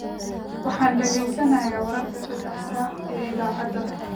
Waxaan dhageysanayaa wararka saddexda saac ee idaacadaha